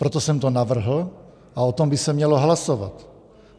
Proto jsem to navrhl a o tom by se mělo hlasovat.